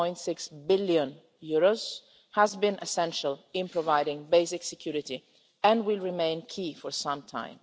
1.6 billion, has been essential in providing basic security and will remain key for some time.